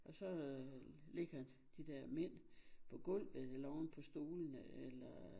Og så ligger de der mænd på gulvet eller oven på stolene eller